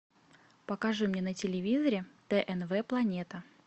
покажи мне на телевизоре тнв планета